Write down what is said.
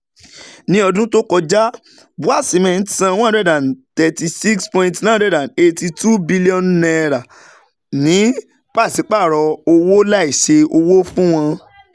Ní ọdún tó kọjá, BUA Cement san N136.982 bílíọ̀nù ní pàṣípààrọ̀ owó láìsí owó fún àwọn